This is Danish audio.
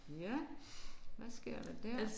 Ja. Hvad sker der der?